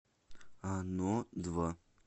оно два